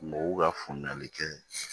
Mɔgɔw ka faamuyali kɛ